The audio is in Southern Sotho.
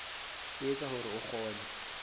e etsa hore o kgone